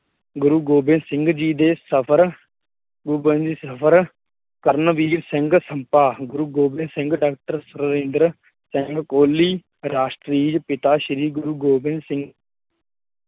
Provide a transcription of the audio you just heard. ਗੁਰੁ ਗੋਬਿੰਦ ਸਿੰਘ ਜੀ ਦੇ ਸਫ਼ਰ ਸਿੰਘ ਕਰਨਵੀਰ ਸਿੰਘ ਸੰਮਪਾਂ, ਗੁਰੁ ਗੋਬਿੰਦ ਸਿੰਘ ਡਾਕਟਰ ਸਿੰਘ ਕੋਹਲੀ ਰਾਸ਼ਟਰੀ ਪਿਤਾ ਸ਼੍ਰੀ ਗੁਰੁ ਗੋਬਿੰਦ ਸਿੰਘ